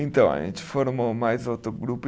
Então, a gente formou mais outro grupo.